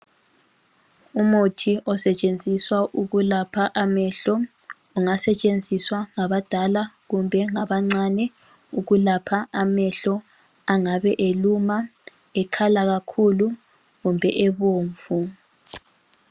Umuthi osetshenziswa ukulapha amehlo ungasetshenziswa ngabadala kumbe ngabancane ukulapha amehlo angabe eluma, ekhala kakhulu kumbe ebomvu.